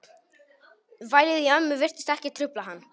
Vælið í ömmu virtist ekki trufla hann.